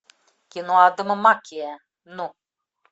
кино адама маккея ну